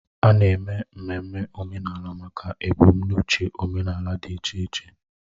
A na-eme ememme omenala maka ebumnuche omenala dị iche iche